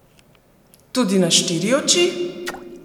Tudi na štiri oči?